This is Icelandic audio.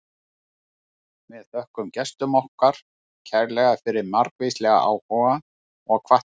Við þökkum gestum okkar kærlega fyrir margvíslegan áhuga og hvatningu.